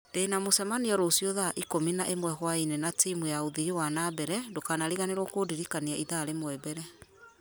ndĩna mũcemanio rũciũ thaa ikũmi na ĩmwe hwaĩ-inĩ na timũ ya ũthii wa na mbere ndũkanariganĩrwo kũndirikania ithaa rĩmwe mbere